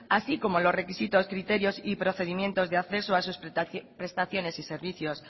así como los requisitos criterios y procedimientos de acceso a sus prestaciones y servicios